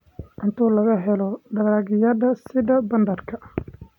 Cunto laga helo dalagyada sida badarka.